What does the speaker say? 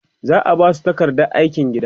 za'a Basu takardar aikin gida